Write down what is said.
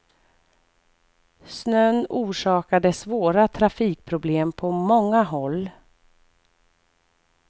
Snön orsakade svåra trafikproblem på många håll.